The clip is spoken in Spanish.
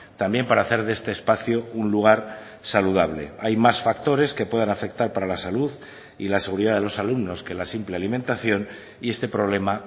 también para hacer de este espacio un lugar saludable hay más factores que puedan afectar para la salud y la seguridad de los alumnos que la simple alimentación y este problema